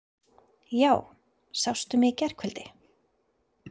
Já, sástu mig í gærkvöldi?